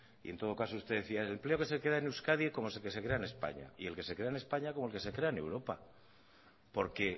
y en todo caso usted decía el empleo que se crea en euskadi es como el que se crea en españa y el que se crea en españa como el que se crea en europa porque